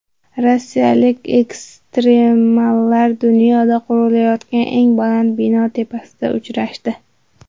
Rossiyalik ekstremallar dunyoda qurilayotgan eng baland bino tepasida uchrashdi .